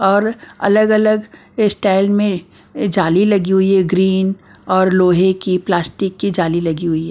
और अलग-अलग स्टाइल में जाली लगी हुई है ग्रीन और लोहे की प्लास्टिक की जाली लगी हुई है।